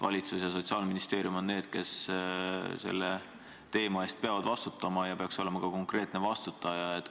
Valitsus ja Sotsiaalministeerium on need, kes selle teemaga seoses peavad vastutama, ja peaks olema ka konkreetne vastutaja.